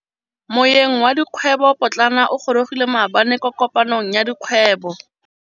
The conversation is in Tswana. Moêng wa dikgwêbô pôtlana o gorogile maabane kwa kopanong ya dikgwêbô.